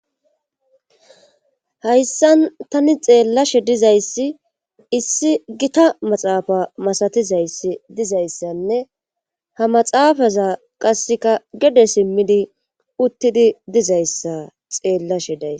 Hayssan tani xeellashe dizayssi issi gita maxaafa masatizayss dizayssanne ha maxaafaza qasseka gede simmidi uttidi dizayssa xeellashe day